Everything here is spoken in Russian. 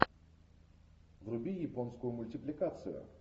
вруби японскую мультипликацию